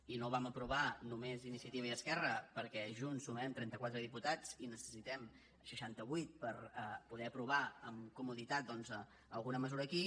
i no ho vam aprovar només iniciativa i esquerra perquè junts sumem trenta quatre diputats i en necessitem seixanta vuit per poder aprovar amb comoditat doncs alguna mesura aquí